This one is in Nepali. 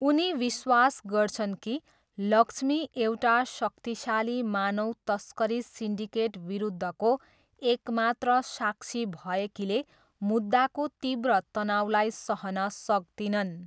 उनी विश्वास गर्छन् कि लक्ष्मी एउटा शक्तिशाली मानव तस्करी सिन्डिकेट विरुद्धको एक मात्र साक्षी भएकीले मुद्दाको तीव्र तनाउलाई सहन सक्दिनन्।